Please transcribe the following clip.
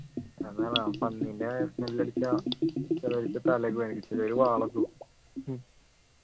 അതാണ് ആ പന്നീൻ്റെ smell അടിച്ചാൽ ചേലൊരിക്ക് തലയൊക്കെ വേദനിക്കും ചേലോരു വാളൊക്കെ വെക്കും